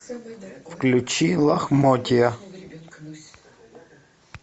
включи лохмотья